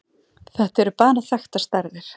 Þetta eru bara þekktar stærðir.